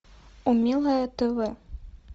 умелое тв